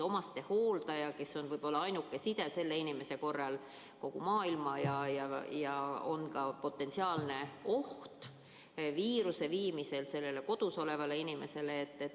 Omastehooldaja on võib-olla ainuke selle inimese side kogu maailmaga ja tal on ka potentsiaalne oht viia viirus sellele kodus olevale inimesele.